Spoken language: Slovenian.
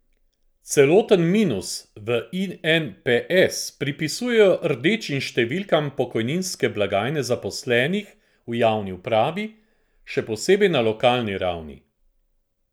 Celoten minus v Inps pripisujejo rdečim številkam pokojninske blagajne zaposlenih v javni upravi, še posebej na lokalni ravni.